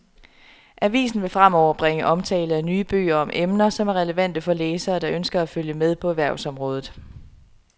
Avisen vil fremover bringe omtale af nye bøger om emner, som er relevante for læsere, der ønsker at følge med på erhvervsområdet.